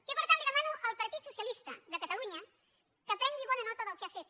jo per tant li demano al partit socialista de catalunya que prengui bona nota del que ha fet